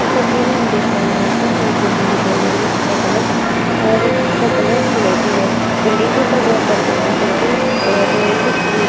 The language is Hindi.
इस तस्वीर में हम देख पा रहे हैं यहाँ पर हमें एक बिल्डिंग दिखाई दे रही है जिसका कलर अ जिसका कलर सिलेटी है। बिल्डिंग के ऊपर बोहोत सारी क्रिकेटर की और कुछ फ्रूट्स --